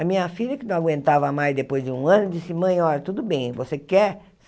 A minha filha, que não aguentava mais depois de um ano, disse, mãe, olha, tudo bem, você quer?